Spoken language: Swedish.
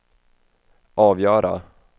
avgöra